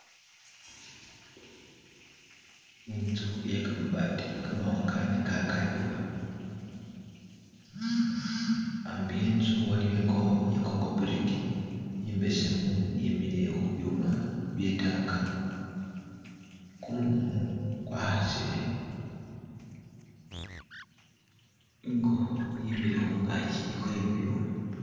Inzu iye kamabati kamawanga ne ka kadiwa, ambi we'nzu aliyo ingokho iye kongobiriki imbesemu yemikhile khu byuma bye'tank , kumumu kwakhasile, ingokho yemile khungaki khwe bibyuma.